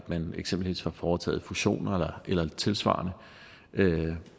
man eksempelvis har foretaget fusioner eller tilsvarende